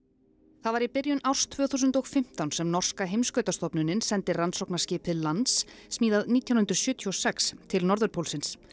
það var í byrjun árs tvö þúsund og fimmtán sem norska sendi rannsóknarskipið Lance smíðað nítján hundruð sjötíu og sex til norðurpólsins